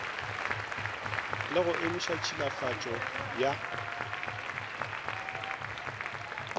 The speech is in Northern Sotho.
le go emiša tšhilafatšo ya